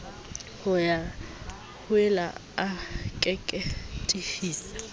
ho ya hoile a keketehisa